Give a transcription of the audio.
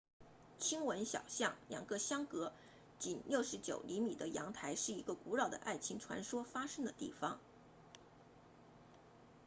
callejon del beso 亲吻小巷两个相隔仅69厘米的阳台是一个古老的爱情传说发生的地方